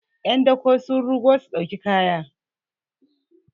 yan dako sun rugo su dau kaya